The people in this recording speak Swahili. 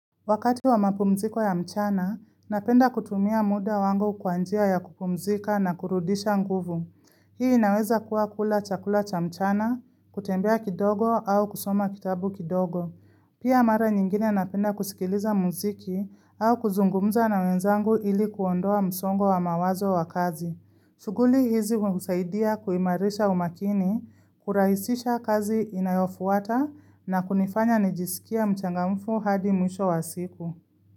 Wakati wa mapumziko ya mchana, napenda kutumia muda wangu kwanjia ya kupumzika na kurudisha nguvu. Hii inaweza kuwa kula chakula cha mchana, kutembea kidogo au kusoma kitabu kidogo. Pia mara nyingine napenda kusikiliza mziki au kuzungumza na wenzangu ili kuondoa msongo wa mawazo wa kazi. Suguli hizi kusaidia kuimarisha umakini, kuraisisha kazi inayofuata na kunifanya nijisikia mchangamfu hadi mwisho wa siku.